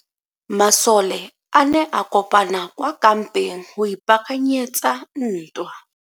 Masole a ne a kopane kwa kampeng go ipaakanyetsa ntwa.